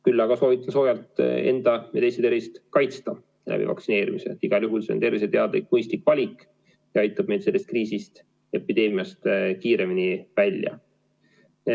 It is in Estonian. Küll aga soovitan soojalt enda või teiste tervist kaitsta läbi vaktsineerimise, igal juhul see on terviseteadlik mõistlik valik ja aitab meid sellest kriisist, epideemiast kiiremini välja.